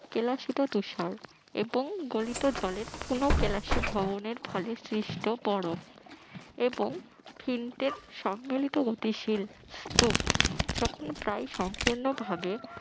কেলাসিত তুষার এবং গলিত জলের পুন কেলাসী ভবনের ফলে সৃষ্ট বরফ এবং ফিন্টের সম্মেলিত অতি শীল স্তুপ যখন প্রায় সম্পূর্ণভাবে